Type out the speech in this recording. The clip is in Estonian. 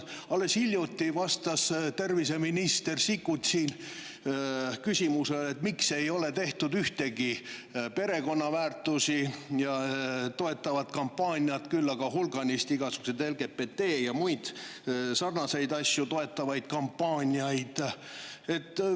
Alles hiljuti vastas endine terviseminister Sikkut siin küsimusele, miks ei ole tehtud ühtegi pereväärtusi toetavat kampaaniat, küll aga on tehtud hulganisti igasuguseid LGBT-d ja muid sarnaseid asju toetavaid kampaaniaid.